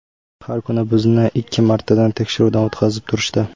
Har kuni bizni ikki martadan tekshiruvdan o‘tkazib turishdi.